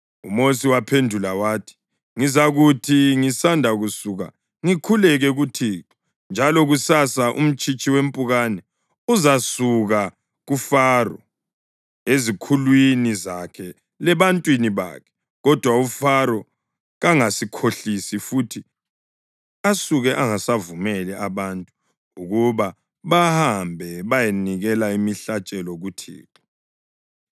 UMosi waphendula wathi, “Ngizakuthi ngisanda kusuka ngikhuleke kuThixo, njalo kusasa umtshitshi wempukane uzasuka kuFaro, ezikhulwini zakhe lebantwini bakhe. Kodwa uFaro kangasikhohlisi futhi asuke angasavumeli abantu ukuba bahambe bayenikela imihlatshelo kuThixo.”